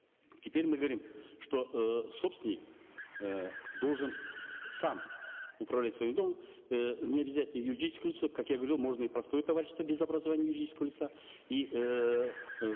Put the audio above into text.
теперь мы говорим что э собственник э должен сам управлять своим домом э необязательно юридическое лицо как я говорил можно и простое товарищество без образования юридического лица и эээ